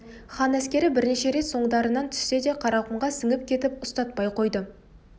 хан әскері бірнеше рет соңдарынан түссе де қарақұмға сіңіп кетіп ұстатпай қойды